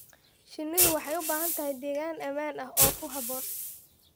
Shinnidu waxay u baahan tahay deegaan ammaan ah oo ku habboon.